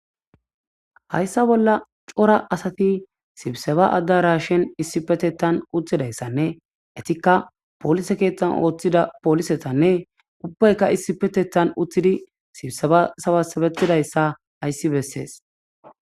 Haysa bola c'ora asati sibiseba adarashen issipetetan utidaysanne etika polise kethan othida polisetanne ubayika issipetetan utidi sibiseba sabasabetidaysa haysi beses.